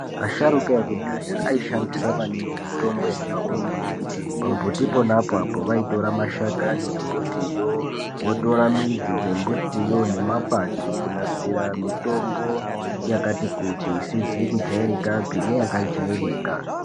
Asharuka ekudhaya aishandisa maningi Mitombo yaibva kumumbuti pamumbuti apapo vaitora mashakani emumbuti votora midzi dzembutiwo nemakwati kunasira mitombo yakati kuti isizi kujairikapi neya kajairika.